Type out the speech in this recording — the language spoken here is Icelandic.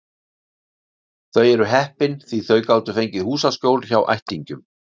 Þau eru heppin því þau gátu fengið húsaskjól hjá ættingjum.